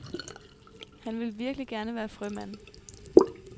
Han vil virkelig gerne være frømand.